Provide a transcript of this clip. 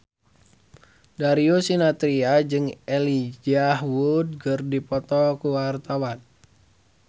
Darius Sinathrya jeung Elijah Wood keur dipoto ku wartawan